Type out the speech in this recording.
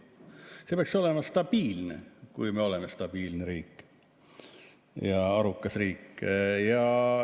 See peaks olema stabiilne, kui me oleme stabiilne riik ja arukas riik.